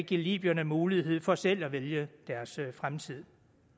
give libyerne mulighed for selv at vælge deres fremtid